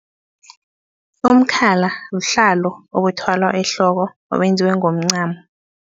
Umkhalo buhlalo obuthwalwa ehloko obenziwe ngomncamo.